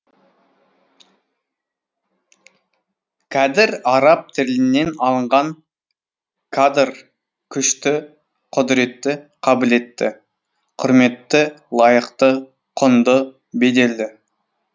кәдір араб тілінен алынған кадр күшті құдіретті қабілетті кұрметті лайықты құнды беделді